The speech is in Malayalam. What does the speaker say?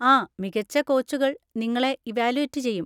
ആ, മികച്ച കോച്ചുകൾ നിങ്ങളെ ഇവാലുവേറ്റ് ചെയ്യും.